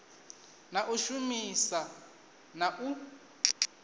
na u shumisa na u